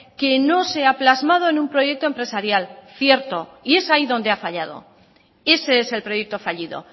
que no se ha plasmado en un proyecto empresarial cierto y es ahí donde ha fallado ese es el proyecto fallido